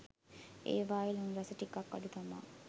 ඒවායේ ලුණු රස ටිකක් අඩු තමා